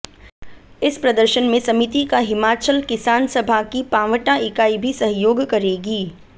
इस प्रदर्शन में समिति का हिमाचल किसान सभा की पांवटा इकाई भी सहयोग करेगी